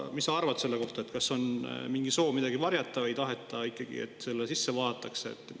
Mis sa arvad selle kohta, kas on mingi soov midagi varjata, ei taheta ikkagi, et sinna sisse vaadatakse?